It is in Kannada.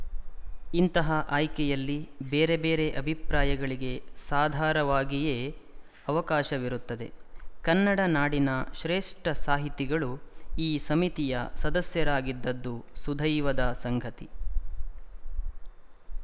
ಇಂತಹ ಆಯ್ಕೆಯಲ್ಲಿ ಬೇರೆ ಬೇರೆ ಅಭಿಪ್ರಾಯಗಳಿಗೆ ಸಾಧಾರವಾಗಿಯೇ ಅವಕಾಶವಿರುತ್ತದೆ ಕನ್ನಡ ನಾಡಿನ ಶ್ರೇಷ್ಠ ಸಾಹಿತಿಗಳು ಈ ಸಮಿತಿಯ ಸದಸ್ಯರಾಗಿದ್ದದ್ದು ಸುದೈವದ ಸಂಗತಿ